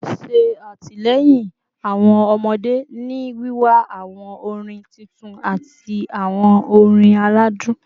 Ṣe atilẹyin awọn ọmọde ni wiwa awọn orin titun ati awọn orin aladun